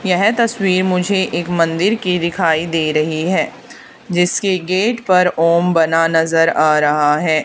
यह तस्वीर मुझे एक मंदिर की दिखाई दे रही है जिसके गेट पर ओम बना नजर आ रहा है।